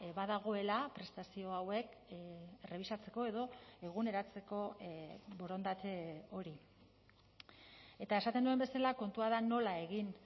badagoela prestazio hauek errebisatzeko edo eguneratzeko borondate hori eta esaten nuen bezala kontua da nola egin